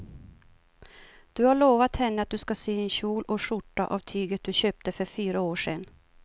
Du har lovat henne att du ska sy en kjol och skjorta av tyget du köpte för fyra år sedan.